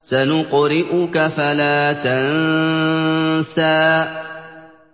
سَنُقْرِئُكَ فَلَا تَنسَىٰ